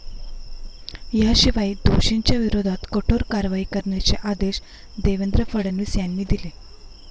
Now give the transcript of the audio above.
याशिवाय दोषींच्या विरोधात कठोर कारवाई करण्याचे आदेश देवेंद्र फडणवीस यांनी दिले.